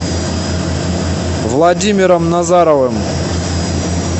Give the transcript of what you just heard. владимиром назаровым